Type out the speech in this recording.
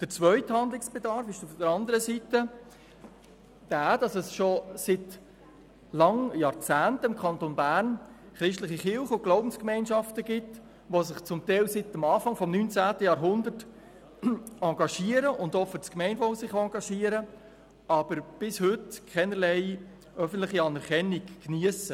Der zweite Handlungsbedarf ist, dass es im Kanton Bern schon seit Jahrzehnten christliche Kirchen und Glaubensgemeinschaften gibt, die sich teilweise seit dem Anfang des 19. Jahrhunderts auch für das Gemeinwohl engagieren, aber bis heute keinerlei öffentliche Anerkennung geniessen.